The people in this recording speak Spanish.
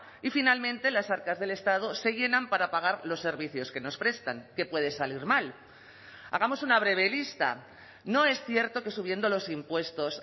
y finalmente las arcas del estado se llenan para pagar los servicios que nos prestan qué puede salir mal hagamos una breve lista no es cierto que subiendo los impuestos